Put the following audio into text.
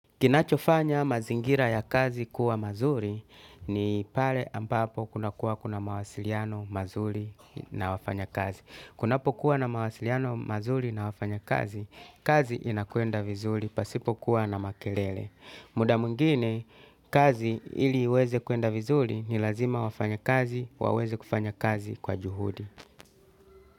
Kinachofanya mazingira ya kazi kuwa mazuri ni pale ambapo kunakuwa kuna mawasiliano mazuri na wafanyakazi. Kunapokuwa na mawasiliano mazuri na wafanyakazi, kazi inakwenda vizuri, pasipokuwa na makelele. Muda mwengine, kazi ili iweze kuenda vizuri ni lazima wafanyakazi waweze kufanya kazi kwa juhudi.